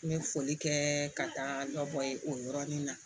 N bɛ foli kɛ ka taa dɔ bɔ ye o yɔrɔnin na